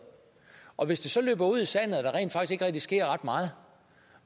og hvis det så løber ud i sandet og der rent faktisk ikke rigtig sker ret meget